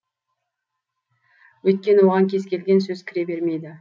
өйткені оған кез келген сөз кіре бермейді